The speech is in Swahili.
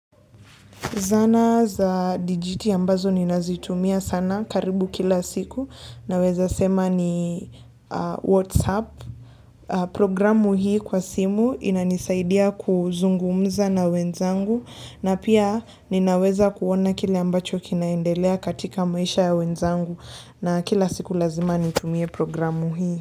Zana za dijiti ambazo ninazitumia sana karibu kila siku. Naweza sema ni Whatsapp. Programu hii kwa simu inanisaidia kuzungumza na wenzangu. Na pia ninaweza kuona kile ambacho kinaendelea katika maisha ya wenzangu. Na kila siku lazima nitumie programu hii.